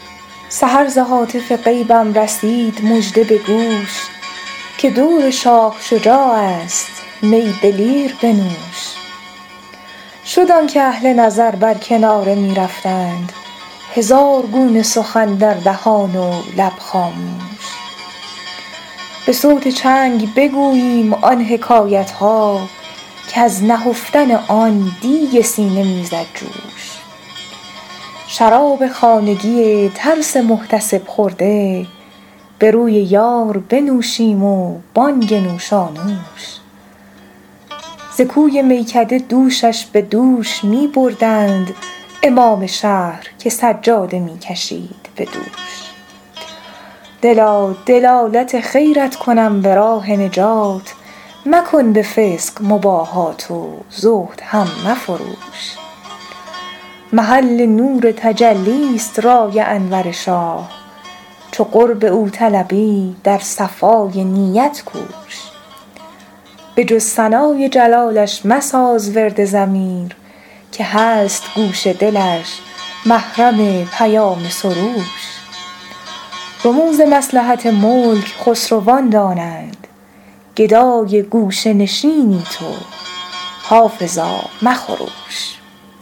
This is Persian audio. سحر ز هاتف غیبم رسید مژده به گوش که دور شاه شجاع است می دلیر بنوش شد آن که اهل نظر بر کناره می رفتند هزار گونه سخن در دهان و لب خاموش به صوت چنگ بگوییم آن حکایت ها که از نهفتن آن دیگ سینه می زد جوش شراب خانگی ترس محتسب خورده به روی یار بنوشیم و بانگ نوشانوش ز کوی میکده دوشش به دوش می بردند امام شهر که سجاده می کشید به دوش دلا دلالت خیرت کنم به راه نجات مکن به فسق مباهات و زهد هم مفروش محل نور تجلی ست رای انور شاه چو قرب او طلبی در صفای نیت کوش به جز ثنای جلالش مساز ورد ضمیر که هست گوش دلش محرم پیام سروش رموز مصلحت ملک خسروان دانند گدای گوشه نشینی تو حافظا مخروش